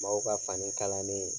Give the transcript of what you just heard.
Mɔgɔw ka fani kalannen